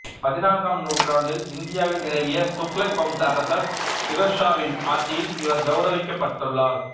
பதினான்காம் நூற்றாண்டில் இந்தியாவில் நிலவிய துக்ளக் வம்ச அரசர் பிரோஸ் ஷா வின் ஆட்சியில் இவர் கௌரவிக்கப்பட்டுள்ளார்